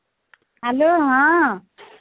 hello ହଁ